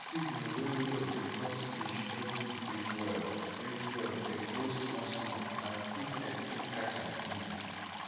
oxygen wey low dey cause fish no fit breathe well breathe well de grow small small and sickness fit catch am easy